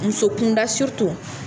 Muso kunda